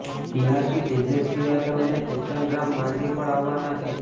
બિહારથી તેજસ્વી યાદવ અને જીતનરામ માંઝી પણ આવવાના છે